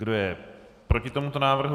Kdo je proti tomuto návrhu?